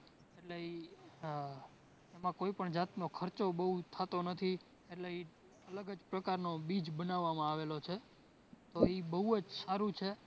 એટલે ઇ એમાં કોઈપણ જાતનો ખર્ચો બોવ થતો નથી એટલે ઇ અલગ જ પ્રકારનો બીજ બનાવામાં આવેલો છે, તો ઇ બોવ જ સારું છે